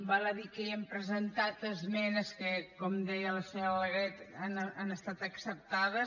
val a dir que hi hem presentat esmenes que com deia la senyora alegret han estat acceptades